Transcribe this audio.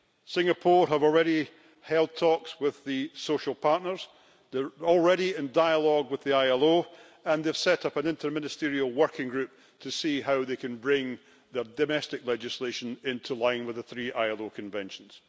Singapore has already held talks with the social partners, they are already in dialogue with the ILO and they've set up an interministerial working group to see how they can bring domestic legislation into line with the three ILO conventions.